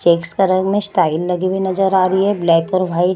Checks का रंग में स्टाइल लगी हुई नज़र आ रही है ब्लैक और वाइट ।